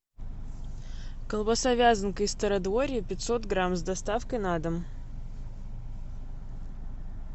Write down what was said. колбаса вязанка из стародворья пятьсот грамм с доставкой на дом